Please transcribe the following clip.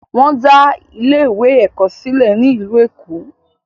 Wọn dá ilé ìwé ẹ̀kọ́ sílẹ̀ ní ìlú Èkó.